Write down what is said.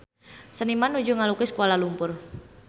Seniman nuju ngalukis Kuala Lumpur